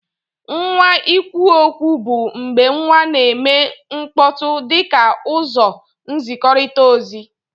Nwa ikwuokwu bu mgbe nwa na eme mkpọtụ dika uzọ nzikọrita ozi.